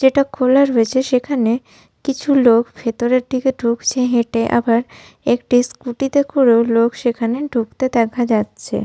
যেটা খোলা রয়েছে সেখানে কিছু লোক ভেতরের দিকে ঢুকছে হেটে আবার একটি স্কুটি তে করেও লোক সেখানে ঢুকতে দেখা যাচ্ছে।